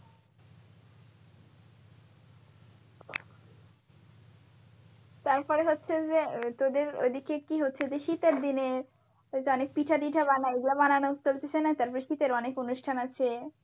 তারপরে হচ্ছে যে তোদের ওইদিকে কি হচ্ছে যে শীতের দিনে ওইযে অনেক পিঠা ঠিতা বানাই ওগুলা বানানো চলতিছে না তারপর শীতের অনেক অনুষ্ঠান আছে।